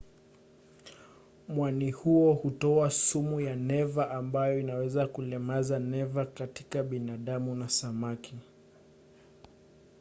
mwani huo hutoa sumu ya neva ambayo inaweza kulemaza neva katika binadamu na samaki